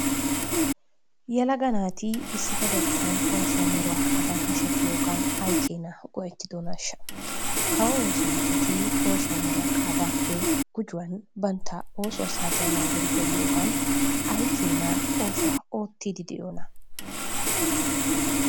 Yelaga naati issippetettan oosuwa meruwa qaadan hashetiyogan ay ay keenaa go'ettidonaashsha. Kawo oosanchchati oosuwa meruwa qaadaappe gujuwan bantta oosuwa saatiya naagidi geliyogan ay keenaa oosuwa oottiiddi de'iyonaa.